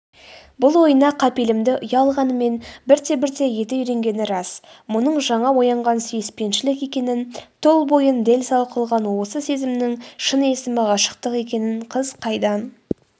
бұл ойына қапелімде ұялағанымен бірте-бірте еті үйренгені рас мұның жаңа оянған сүйіспеншілік екенін тұл бойын дел-сал қылған осы сезімнің шын есімі ғашықтық екенін қыз қайдан